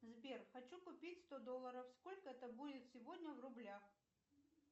сбер хочу купить сто долларов сколько это будет сегодня в рублях